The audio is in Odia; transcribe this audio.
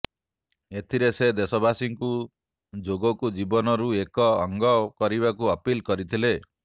ଏଥିରେ ସେ ଦେଶବାସୀଙ୍କୁ ଯୋଗକୁ ଜୀବନରୁ ଏକ ଅଙ୍ଗ କରିବାକୁ ଅପିଲ କରିଥିଲେ